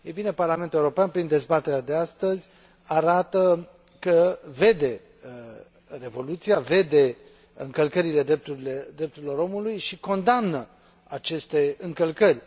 Parlamentul European, prin dezbaterea de astăzi, arată că vede revoluția, vede încălcările drepturilor omului și condamnă aceste încălcări.